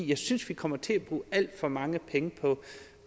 jeg synes vi kommer til at bruge alt for mange penge